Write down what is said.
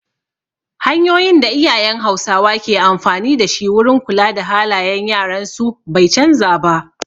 Hanyoyin da iyayen hausawa ke amfani dashi wurin kula da halayen yaran su bai canza ba